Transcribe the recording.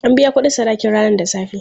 An biya kuɗin sadakin ranan safe.